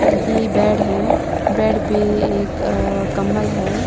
यह बेड है बेड पे अ एक कंबल है।